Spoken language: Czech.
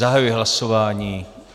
Zahajuji hlasování.